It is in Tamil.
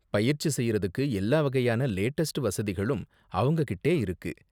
பயிற்சி செய்யறதுக்கு எல்லா வகையான லேட்டஸ்ட் வசதிகளும் அவங்க கிட்டே இருக்கு.